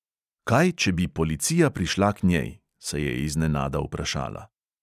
Kaj, če bi policija prišla k njej, se je iznenada vprašala.